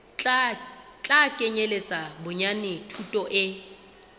tla kenyeletsa bonyane thuto e